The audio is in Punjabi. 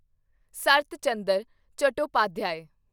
ਸਰਤ ਚੰਦਰ ਚਟੋਪਾਧਿਆਏ